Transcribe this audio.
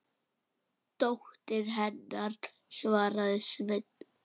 Dóttir hennar, svaraði Sveinn.